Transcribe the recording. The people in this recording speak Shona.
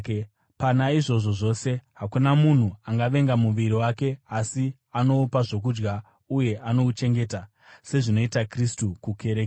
Pana izvozvo zvose, hakuna munhu angavenga muviri wake, asi anoupa zvokudya uye anouchengeta, sezvinoita Kristu kukereke,